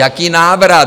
Jaký návrat?